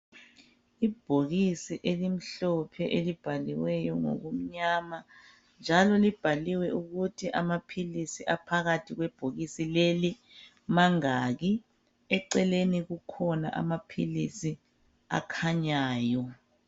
ibhokisi elimhlophe elibhaliweyo ngokumnyama njalo libhaliwe ukuthi amaphilisi aphakathi kwebhokisi leli mangaki eceleni kukhona amaphilisi akhanyayo